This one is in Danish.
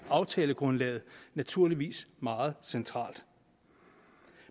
aftalegrundlaget naturligvis meget centralt